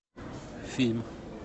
фильм